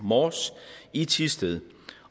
mors i thisted